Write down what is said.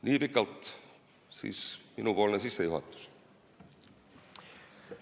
Nii pikalt siis minu sissejuhatus.